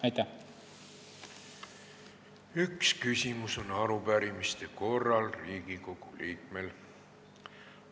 Riigikogu liikmel on arupärimiste korral üks küsimus.